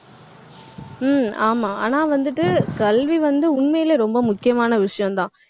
ஹம் ஆமா ஆனா வந்துட்டு, கல்வி வந்து உண்மையிலேயே ரொம்ப முக்கியமான விஷயம்தான்